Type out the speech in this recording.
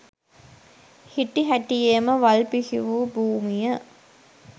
හිටි හැටියේම වල් බිහි වූ භූමිය